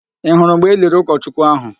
Ị hụrụ mgbe eliri ụkọchukwu ahụ?